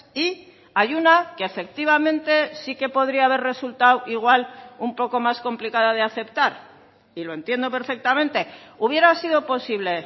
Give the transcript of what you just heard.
y hay una que efectivamente sí que podría haber resultado igual un poco más complicada de aceptar y lo entiendo perfectamente hubiera sido posible